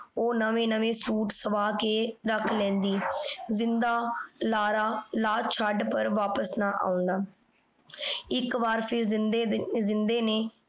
ਊ ਨਵੇ ਨਵੇ ਸੁਇਟ ਸਵਾ ਕੇ ਰਖ ਲੈਂਦੀ। ਜਿੰਦਾ ਲਾਰਾ ਲਾ ਛੱਡ ਪਰ ਵਾਪਿਸ ਨਾ ਆਉਂਦਾ। ਏਇਕ ਵਾਰ ਫੇਰ ਜਿੰਦੇ ਦੇ ਜਿੰਦੇ ਨੇ